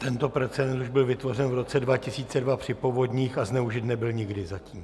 Tento precedens už byl vytvořen v roce 2002 při povodních a zneužit nebyl nikdy zatím.